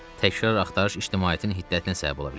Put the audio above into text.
Təkrar axtarış ictimaiyyətin hiddətinə səbəb ola bilər.